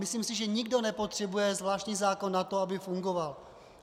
Myslím si, že nikdo nepotřebuje zvláštní zákon na to, aby fungoval.